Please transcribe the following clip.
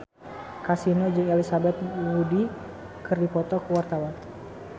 Kasino jeung Elizabeth Moody keur dipoto ku wartawan